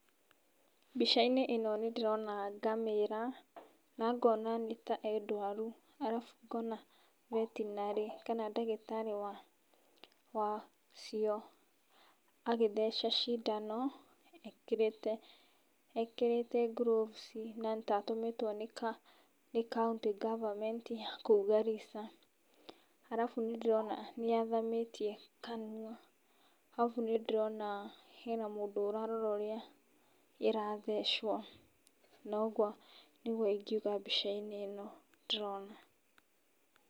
Mbica-inĩ ĩno nĩ ndĩrona ngamĩra, na ngona nĩ ta ĩ ndwaru, arabu ngona vetinary kana ndagĩtarĩ wa, wacio agĩtheca cindano, ekĩrĩte, ekĩrĩte gloves, na nĩ ta atũmĩtwo nĩ county government ya kũu Garissa. Arabu nĩ ndĩrona nĩ athamĩtie kanua. Arabu nĩ ndĩrona hena mũndũ ũrarora ũrĩa ĩrathecwo, noguo nĩguo ingiuga mbica-inĩ ĩno ndĩrona.